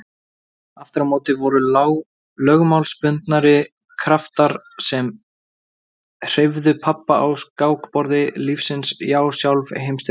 Aftur á móti voru lögmálsbundnari kraftar sem hreyfðu pabba á skákborði lífsins já sjálf Heimsstyrjöldin.